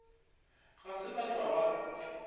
ga se ba hlwa ba